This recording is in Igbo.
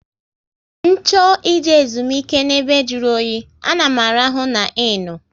Ncho ị je ezumike n'ebe jụrụ oyi, a na m arahụ NA innu